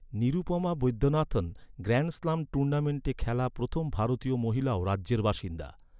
Nirupama Vaidyanathan, grand slam টুর্নামেন্টে খেলা প্রথম ভারতীয় মহিলাও রাজ্যের বাসিন্দা।